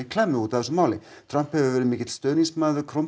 klemmu út af þessu Trump hefur verið mikill stuðningsmaður